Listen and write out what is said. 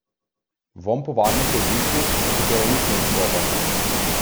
Vonj po varnosti je tisti, v katerem nič ne izstopa.